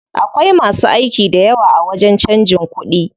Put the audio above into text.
Akwai masu aiki dayawa a wajen canjin kuɗi.